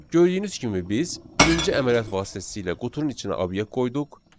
Gördüyünüz kimi biz birinci əməliyyat vasitəsilə qutunun içinə obyekt qoyduq.